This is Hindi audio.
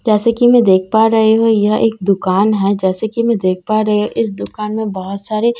जैसे कि मैं देख पा रही हूं यह एक दुकान है जैसे कि मैं देख पा रही हूं इस दुकान में बहोत सारे--